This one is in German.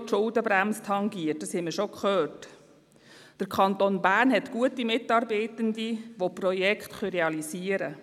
Die EDU ist eher für die Motion betreffend PPP-Projekte.